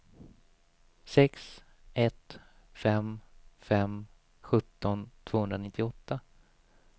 sex ett fem fem sjutton tvåhundranittioåtta